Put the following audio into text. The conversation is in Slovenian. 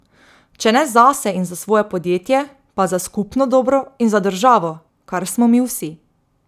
Če ne zase in za svoje podjetje, pa za skupno dobro in za državo, kar smo mi vsi.